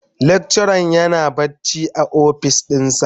lecturer yana bacci a ofis dinsa.